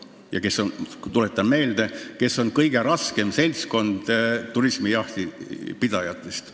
Need külalisjahimehed on, tuletan meelde, kõige raskem seltskond jahiturismi harrastajate seas.